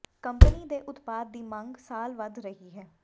company ਦੇ ਉਤਪਾਦ ਦੀ ਮੰਗ ਸਾਲ ਵਧ ਰਹੀ ਹੈ